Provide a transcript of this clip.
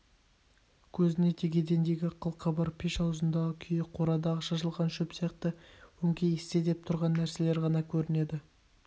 көзіне тек едендегі қыл-қыбыр пеш аузындағы күйе қорадағы шашылған шөп сияқты өңкей істе деп тұрған нәрселер ғана көрінеді